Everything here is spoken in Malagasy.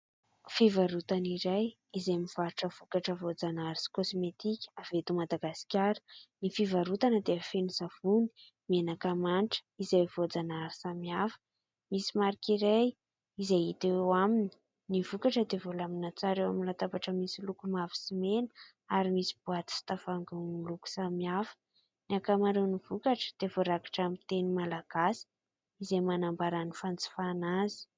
Fivarotana iray izay mivarotra vokatra voajanahary sy kosmetika avy eto Madagasikara. Ny fivarotana dia feno savony, menaka manitra izay voajanahary samihafa. Misy marika iray izay hita eo aminy ny vokatra dia voalamina tsara eo amin'ny latabatra misy loko mavo sy mena ary misy boaty sy tavoahangy miloko samihafa. Ny ankamaroany vokatra dia voarakitra amin'ny teny malagasy izay manambara ny fanjifana azy.